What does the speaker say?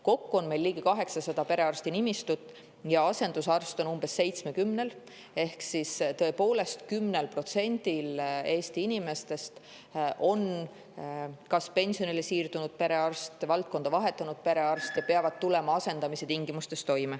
Kokku on meil ligi 800 perearsti nimistut ja asendusarst on umbes 70‑l ehk tõepoolest, 10%-l Eesti inimestest on kas pensionile siirdunud või valdkonda vahetanud perearst ja nad peavad toime tulema asendamise tingimustes.